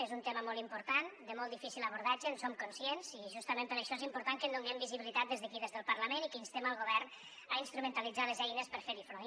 és un tema molt important de molt difícil abordatge en som conscients i justament per això és important que hi donem visibilitat des d’aquí des del parlament i que instem el govern a instrumentalitzar les eines per fer hi front